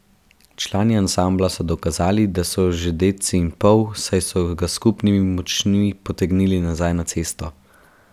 Člani ansambla so dokazali, da so že dedci in pol, saj so ga s skupnimi močmi potegnili nazaj na cesto.